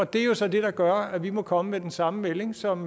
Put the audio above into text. det er jo så det der gør at vi må komme med den samme melding som